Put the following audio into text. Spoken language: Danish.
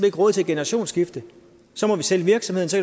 ikke råd til at generationsskifte så må vi sælge virksomheden så